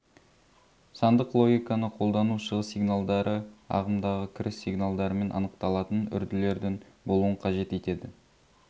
сандық логиканы қолдану шығыс сигналдары ағымдағы кіріс сигналдарымен анықталатын үрділердің болуын қажет етеді